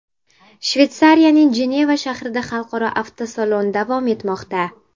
Shveysariyaning Jeneva shahrida xalqaro avtosalon davom etmoqda.